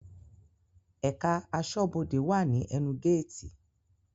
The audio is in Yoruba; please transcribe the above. Ẹ̀ká aṣọ́bọdè wà ní ẹnu géètì